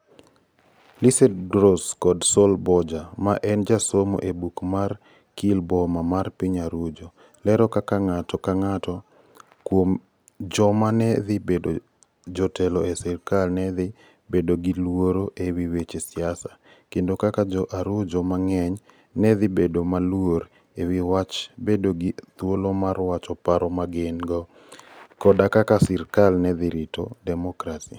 Lisette ArĂ©valo Gross kod Sol Borja, ma en jasomo e oboke mar Gkillboma mar piny Arujo, lero kaka ng'ato ka ng'ato kuom joma ne dhi bedo jotelo e sirkal ne dhi bedo gi luoro e wi weche siasa, kendo kaka Jo - Arujo mang'eny ne dhi bedo maluor e wi wach bedo gi thuolo mar wacho paro ma gin - go, koda kaka sirkal ne dhi rito demokrasi.